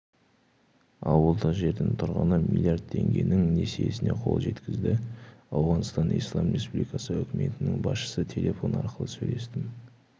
ауылдық жердің тұрғыны млрд теңгенің несиесіне қол жеткізді ауғанстан ислам республикасы үкіметінің басшысы телефон арқылы сөйлестім